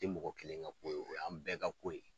Tɛ mɔgɔ kelen ka ko ye o y' an bɛɛ ka ko ye.